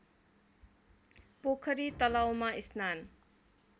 पोखरी तलाउमा स्नान